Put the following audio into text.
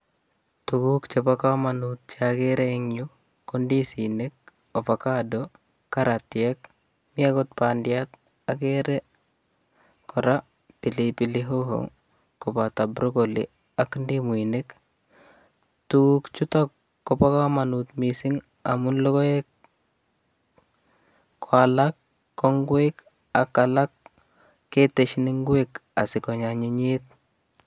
Tuguuk chebo kamanut che agere en yu ko ndisinik, ofacado, karatiek. Mi agot bandiat, agere kora pilipili hoho koboto broccoli ak ndimuinik. Tuguuk chutok koba kamanut missing amu logoek, ko alak ko ngwek ak alak ketesin ingwek asikonyanyinyit.